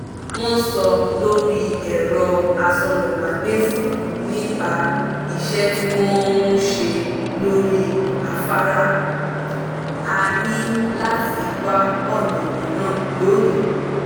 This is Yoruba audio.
wọ́n sọ lórí ẹ̀rọ asọ̀rọ̀mágbèsì nípa iṣẹ́ tí wọ́n ń ṣe lórí afárá; a ní láti wà ọ̀nà míràn lónìí